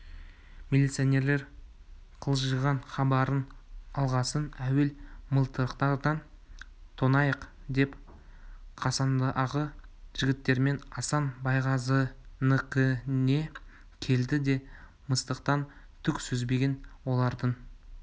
милиционерлер қылжиған хабарын алғасын әуел мылтықтарын тонайық деп қасындағы жігіттермен асан байғазыныкіне келді де мастықтан түк сезбеген олардың